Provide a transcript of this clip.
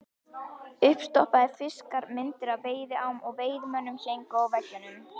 Uppstoppaðir fiskar, myndir af veiðiám og veiðimönnum héngu á veggjunum.